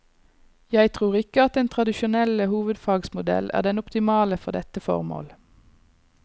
Jeg tror ikke at den tradisjonelle hovedfagsmodell er den optimale for dette formål.